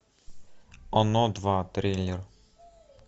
оно два трейлер